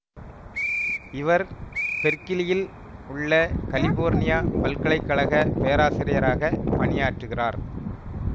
இவர் பெர்க்கிலியில் உள்ள கலிபோர்னியா பல்கலை கழக பேராசிரியராக பணி யாற்றுகிறார்